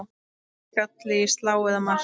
Skalli í slá eða mark?